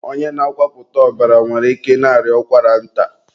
onye na-akwapụta ọbara nwere ike ị na-arịa ụkwara nta.